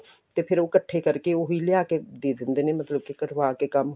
ਤੇ ਫਿਰ ਉਹ ਇਕੱਠੇ ਕਰਕੇ ਉਹ ਵੀ ਲਿਆ ਕੇ ਦੇ ਦਿੰਦੇ ਨੇ ਮਤਲਬ ਕੀ ਕਰਵਾ ਕੇ ਕੰਮ